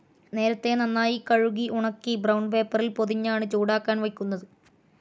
നേരത്തെ നന്നായി കഴുകി ഉണക്കി ബ്രൌൺ പേപ്പറിൽ പൊതിഞ്ഞാണ് ചൂടാക്കാൻ വയ്ക്കുന്നത്.